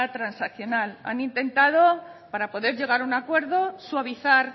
transaccional han intentado para poder llegar a un acuerdo suavizar